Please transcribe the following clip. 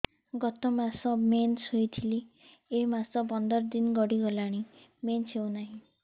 ଗତ ମାସ ମେନ୍ସ ହେଇଥିଲା ଏ ମାସ ପନ୍ଦର ଦିନ ଗଡିଗଲାଣି ମେନ୍ସ ହେଉନାହିଁ